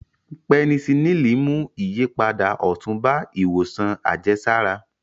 Pẹnisilíìnì mú ìyípadà ọ̀tun bá ìwòsàn àjẹsára